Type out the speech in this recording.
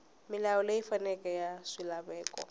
milawu leyi faneleke ya swilaveko